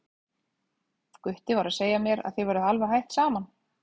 Gutti var að segja mér að þið væruð alveg hætt saman.